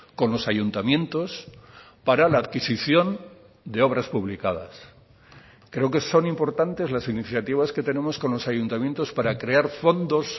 con los ayuntamientos para la adquisición de obras publicadas creo que son importantes las iniciativas que tenemos con los ayuntamientos para crear fondos